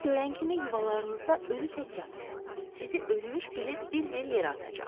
Pirimi görən kimi yuvalarınızda ölü tək yatın, sizi ölmüş bilib bir-bir yerə atacaq.